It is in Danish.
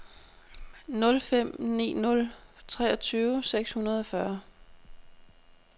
nul fem ni nul treogtyve seks hundrede og fyrre